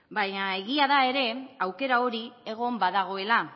baina egia da ere aukera hori egon badagoela